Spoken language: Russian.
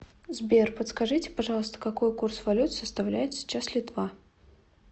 сбер подскажите пожалуйста какой курс валют составляет сейчас литва